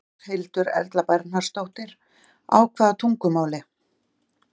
Berghildur Erla Bernharðsdóttir: Á hvaða tungumáli?